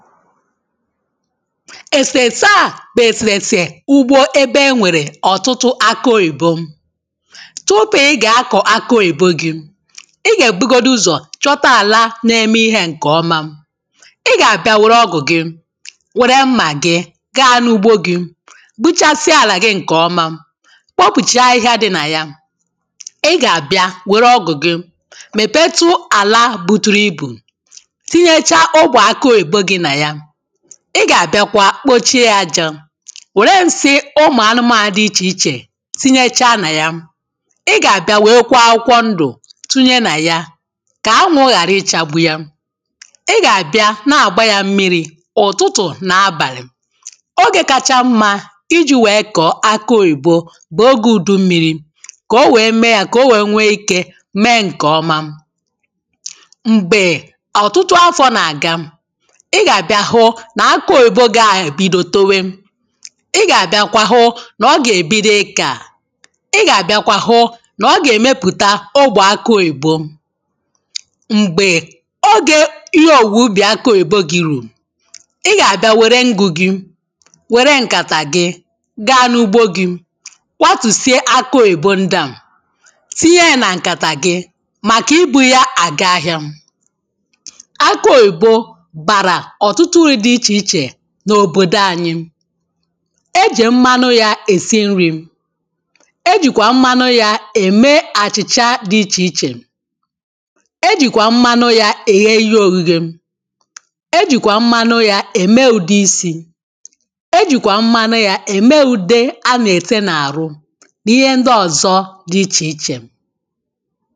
èsèèsè a bụ̀ èsèèsè ugbȯ ebe enwèrè ọ̀tụtụ akị oyìbo tupu i gà-akọ̀ akị òyìbo gi ị ga-èbugodu ụzọ̀ chọta àlà na-eme ihe ǹkèọma ị gà-àbịa wère ọgụ̀ gị wère mmà gị gị n’ugbo gi gbuchasịa àlà gị ǹkèọma kpopùchaa ahịhịa dị nà ya ị gà-àbịa wère ọgụ̀ gị mèpetu àlà buturu ibù ị gà-àbịakwa kpochie ya ajȧ wère nsị ụmụ̀ anụmànụ̀ dị ichè ichè tinyechaa nà ya ị gà-àbịa wee kwọ akwụkwọ ndụ̀ tinye nà ya kà anwụ ghàra ichȧgbu ya ị gà-àbịa na-àgba ya mmiri̇ ụ̀tụtụ̀ nà abàlị̀ ogè kacha mmȧ iji̇ wèe kọ̀ọ akị òyìbo bụ̀ ogè ùdu mmiri̇ kà o wèe mee ya kà o wèe nwee ikė mee ǹkè ọma m̀gbè ọ̀tụtụ afọ̀ na-àga nà akụ oyibo gị́ àbịdọ towe ị gà-àbịakwa hụ nà ọ gà-èbido ikȧ ị gà-àbịakwa hụ nà ọ gà-èmepụ̀ta ọgbọ akụ oyibo m̀gbè oge ihe òwùwè ubì akụ oyibo gi̇ rùrù ị gà-àbịa wère ngụ̇ gi wère ǹkàtà gị gaa n’ugbȯ gi̇ kwatùsìe akụ òyibo ndịa tinye ya nà ǹkàtà gị màkà ibu̇ ya à ga-ahịȧ akụ òyibo n’òbòdo anyị e jè mmanụ ya è si nri̇ ejìkwà mmanụ ya ème àchị̀chà dị ichè ichè ejìkwà mmanụ ya è ge ihe ogìgè ejìkwà mmanụ ya ème ùde isi̇ ejìkwà mmanụ ya ème ùde a nà-ète n’àrụ n’ihe ndị ọ̀zọ dị ichè ichè